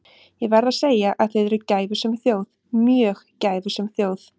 Ég verð að segja að þið eruð gæfusöm þjóð, mjög gæfusöm þjóð.